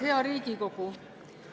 Hea Riigikogu!